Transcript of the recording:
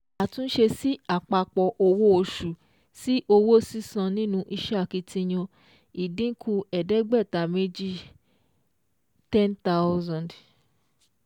Àtúnṣe sí àpapọ̀ owó oṣù sí owó sísan nínú iṣẹ́ akitiyan: ìdínkù ẹ̀ẹ́dẹ́gbàta méjì (5,000 2)